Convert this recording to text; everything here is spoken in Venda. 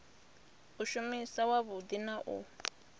u shuma wavhudi na u